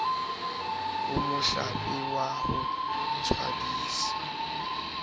ho mohlape wa ho tswadisa